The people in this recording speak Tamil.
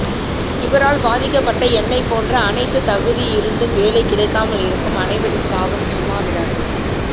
இவரால் பாதிக்கப்பட்ட என்னை போன்ற அணைத்து தகுதி இருந்தும் வேலை கிடைக்காமல் இருக்கும் அனைவரின் சாபம் சும்மா விடாது